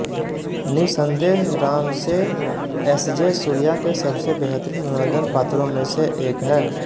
निस्संदेह रामसे एसजे सूर्या के सबसे बेहतरीन मनोरंजन पात्रों में से एक है